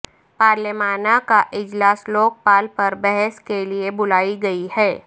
پارلیمان کا اجلاس لوک پال پر بحث کے لیے بلائی گئی ہے